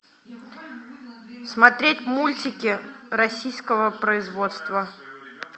смотреть мультики российского производства